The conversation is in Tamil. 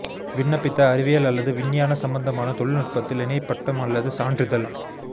விண்ணப்பித்த அறிவியல் அல்லது விஞ்ஞான சம்பந்தமான தொழில்நுட்பத்தில் இணை பட்டம் அல்லது சான்றிதழ்